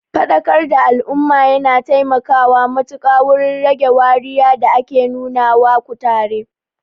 Faɗakar da al'umma yana taimakawa matuƙa wurin rage wariya da ake nuna wa kutare.